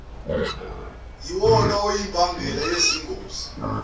yiwona oyimbangela yezingozi